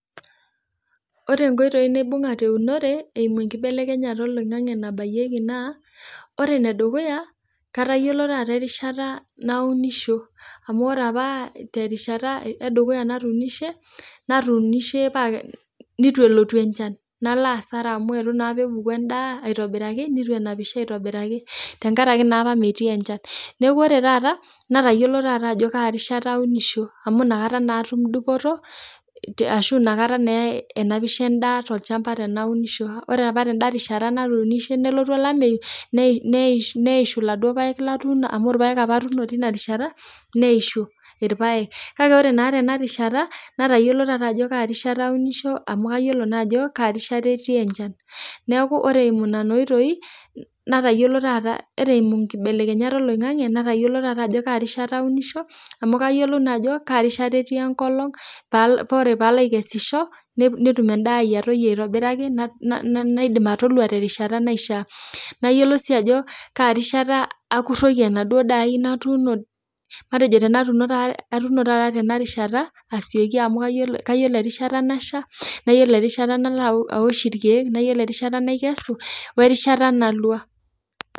Ore nkoitoi naibung'a te unore eimu enkibelekenyata eloingange nabaiyeki naa, ore nedukuya katayiolo taata rishata naunisho amu ore apa te rishata edukuya natuunishe, natuunishe paa neitu elotu enchan, nalo asara amu eitu naapa epuku endaa aitobiraki, neitu enapisho aitobiraki tengaraki naapa metii enchan, neaku ore taata natayiolo ajo kaa rishata taata aunisho, amu inakataa naa atum dupoto ashu inakata naa enapisho indaa te ilchamba teneaku iunisho. Ore apa tenda rishata natuunishe nelotu olameiyu, neishu iladuo paek latuuno apa amu irpaek apa atuuno teina rishata neishu irpaek, kake ore naa tena rishata natayiolo taata ajo kaa rishata aunisho amu kayolo naa ajo kaa rishata etii enchan, neaku ore eimu nena oitoi nataiyolo taata ore nkibelekenyata oloingange natayiolo taata ajo kaa rishata aunisho amu kayiolou naa ajo kaa rishata etii enkolong paa ore paalo aikeshisho netum endaa ai aitobiraki, naidim atolua te rishata naishaa nayiolou sii ajo kaa rishata akuroki enaduo daa aai, natuuno matejo tenatuno taata tema rishata asieki amu kayiolo erishata nasha, nayiolo erishata nalo aosh irkeek, nayiolo rishata naikesu o erishata nalwa.